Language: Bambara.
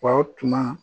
Faw tununa